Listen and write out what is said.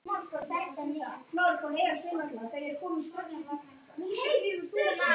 Þú þekkir það ekki!